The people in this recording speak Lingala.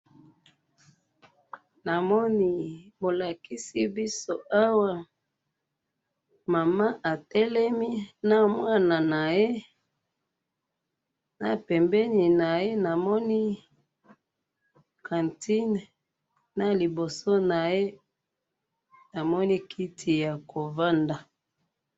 namoni bolakisi biso awa mama atelemi na mwana naye na pembi naye namoni cantine na liboso naye namoni kiti ya kovanda